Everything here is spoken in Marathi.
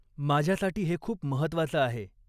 माझ्यासाठी हे खूप महत्वाचं आहे.